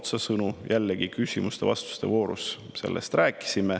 Me rääkisime sellest jällegi küsimuste-vastuste voorus.